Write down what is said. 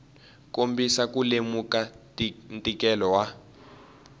kombisa ku lemuka ntikelo wa